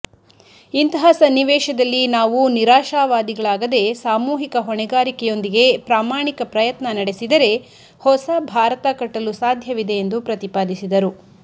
ಇಂತಹ ಸನ್ನಿವೇಶದಲ್ಲಿ ನಾವು ನಿರಾಸವಾದಿಗಳಾಗದೇ ಸಾಮೂಹಿಕ ಹೊಣೆಗಾರಿಕೆಯೊಂದಿಗೆ ಪ್ರಾಮಾಣಿಕ ಪ್ರಯತ್ನ ನಡೆಸಿದರೆ ಹೊಸ ಭಾರತ ಕಟ್ಟಲು ಸಾಧ್ಯವಿದೆ ಎಂದು ಪ್ರತಿಪಾದಿಸಿದರು